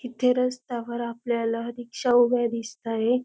इथे रस्त्यावर आपल्याला रिक्षा उभ्या दिसताहे.